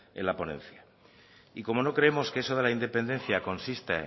en la ponencia y como no creemos que eso de la independencia consiste